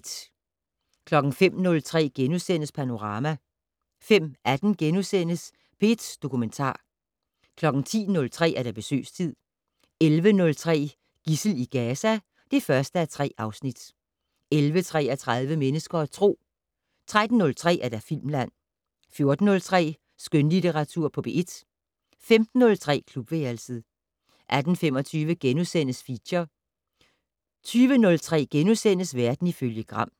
05:03: Panorama * 05:18: P1 Dokumentar * 10:03: Besøgstid 11:03: Gidsel i Gaza (1:3) 11:33: Mennesker og Tro 13:03: Filmland 14:03: Skønlitteratur på P1 15:03: Klubværelset 18:25: Feature * 20:03: Verden ifølge Gram *